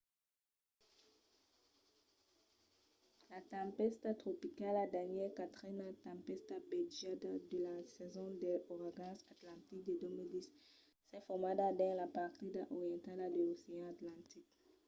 la tempèsta tropicala danielle quatrena tempèsta batejada de la sason dels auragans atlantics de 2010 s’es formada dins la partida orientala de l’ocean atlantic